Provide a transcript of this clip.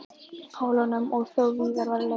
Pólunum og þó víðar væri leitað.